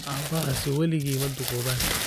Aabbahaasi weligii ma duqoobaan